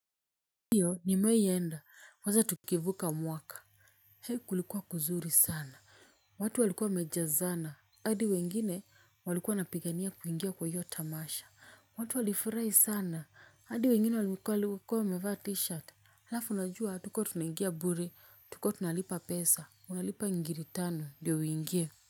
Ndiyo nimewahi enda kwanza tukivuka mwaka Hei kulikuwa kuzuri sana. Watu walikuwa wamejazana hadi wengine walikuwa wanapigania kuingia kwa hiyo tamasha. Watu walifurahi sana hadi wengine walikuwa walikuwa wamevaa t-shirt. Halafu unajua hatukuwa tunaingia bure tulikuwa tunalipa pesa unalipa ngiri tano ndiyo uingie.